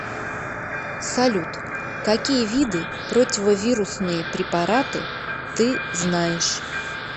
салют какие виды противовирусные препараты ты знаешь